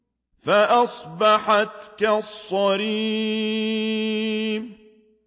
فَأَصْبَحَتْ كَالصَّرِيمِ